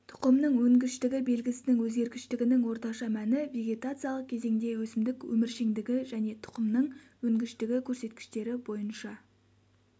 тұқымның өнгіштігі белгісінің өзгергіштігінің орташа мәні вегетациялық кезеңде өсімдік өміршеңдігі және тұқымның өнгіштігі көрсеткіштері бойынша